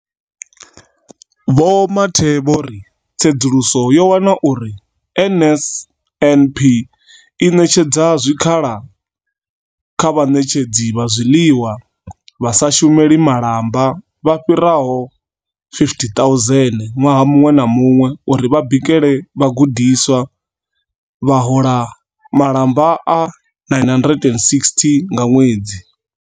Vho Mathe vho ri, tsedzuluso yo wana uri NSNP i ṋetshedza zwikhala kha vhaṋetshedzi vha zwiḽiwa vha sa shumeli malamba vha fhiraho 50 000 ṅwaha muṅwe na muṅwe uri vha bikele vhagudiswa, vha hola malamba a R960 nga ṅwedzi.